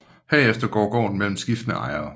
Herefter går gården mellem skiftende ejere